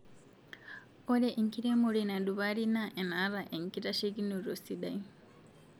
Ore enkiremore nadupari na enataa enkitashekinoto sidai